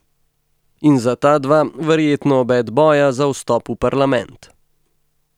In za ta dva verjetno obet boja za vstop v parlament.